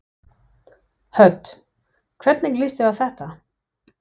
Hödd: Hvernig líst þér á þetta?